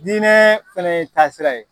diinɛ fana ye taasira ye.